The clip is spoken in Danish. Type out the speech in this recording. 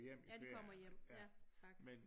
Ja de kommer hjem ja tak